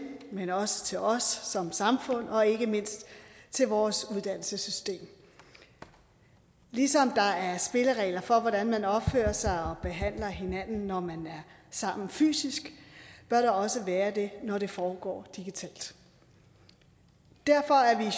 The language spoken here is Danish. men også til os som samfund og ikke mindst til vores uddannelsessystem ligesom der er spilleregler for hvordan man opfører sig og behandler hinanden når man er sammen fysisk bør der også være det når det foregår digitalt derfor er